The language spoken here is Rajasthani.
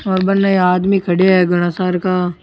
और बनने आदमी खड़ा है घाना सारा का।